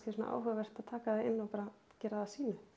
áhugavert að taka það inn og bara gera það að sínu ég